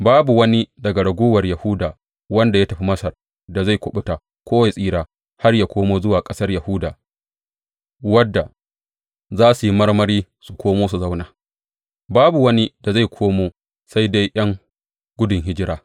Babu wani daga raguwar Yahuda wanda ya tafi Masar da zai kuɓuta ko ya tsira har ya komo zuwa ƙasar Yahuda, wadda za su yi marmari su komo su zauna; babu wani da zai komo sai dai ’yan gudun hijira.